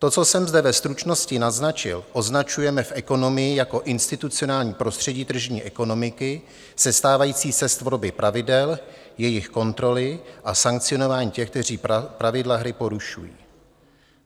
To, co jsem zde ve stručnosti naznačil, označujeme v ekonomii jako institucionální prostředí tržní ekonomiky sestávající z tvorby pravidel, jejich kontroly a sankcionování těch, kteří pravidla hry porušují.